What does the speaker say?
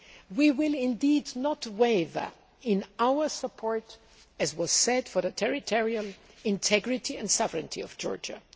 We will not waver in our support, as was said, for the territorial integrity and sovereignty of Georgia.